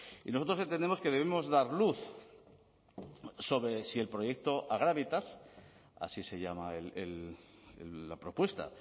y nosotros entendemos que debemos dar luz sobre si el proyecto agravitas así se llama la propuesta